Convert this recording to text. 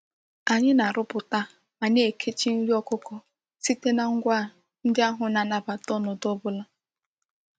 Anyi na-aruputa ma na-ekechi nri okuko site na ngwa ndi ahu na-anabata onodu obula.